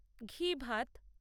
ঘি ভাত